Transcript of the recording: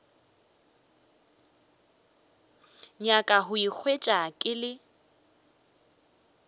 nyaka go ikhwetša ke le